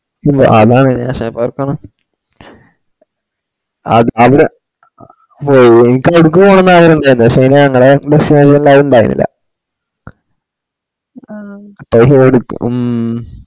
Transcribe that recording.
മ്മ് അതാണ് ഞാൻ അവരെ ഹും ഇപ്പൊ എടുക്കുവാൻ അഗ്രഹായനും പഷെ ഞങ്ങളെ bus ആരുണ്ടായിരുന്നില്ല മ്മ് ഹും